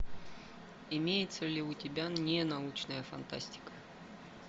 имеется ли у тебя ненаучная фантастика